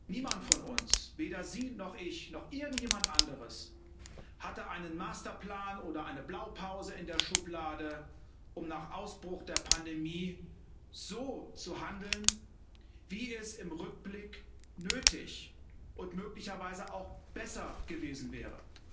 Niemand von uns weder Sie noch ich noch irgendjemand anderes hatte einen Masterplan oder eine Blaupause in der Schublade, um nach Ausbruch der Pandemie so zu handeln, wie es im Rückblick nötig und möglicherweise auch besser gewesen wäre.